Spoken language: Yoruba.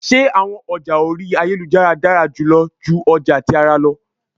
Ṣe awọn ọja ori ayelujara dara julọ ju ọja ti ara lọ?